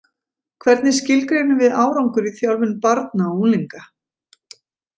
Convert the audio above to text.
Hvernig skilgreinum við árangur í þjálfun barna og unglinga?